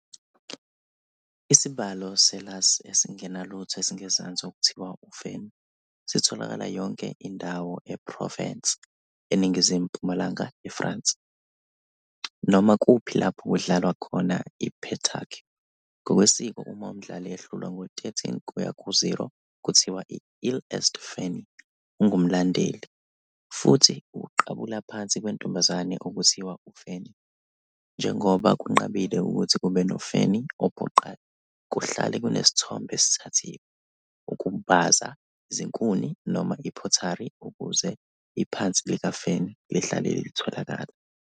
Isibalo se-lass esingenalutho esingezansi okuthiwa uFanny sitholakala yonke indawo eProvence, eningizimu-mpumalanga yeFrance, noma kuphi lapho kudlalwa khona i-pétanque, ngokwesiko uma umdlali ehlulwa ngo-13 kuya ku-0 kuthiwa "il est fanny", ungumlandeli, futhi ukuqabula phansi kwentombazane okuthiwa uFanny, njengoba kunqabile ukuthi kube noFanny ophoqayo, kuhlale kunesithombe esithathiwe, ukubaza izinkuni noma i-pottery ukuze iphansi likaFanny lihlale litholakala.